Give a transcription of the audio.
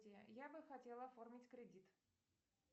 я бы хотела оформить кредит